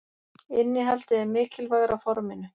Innihaldið er mikilvægara forminu.